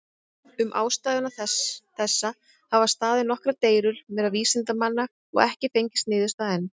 Um ástæðu þessa hafa staðið nokkrar deilur meðal vísindamanna, og ekki fengist niðurstaða enn.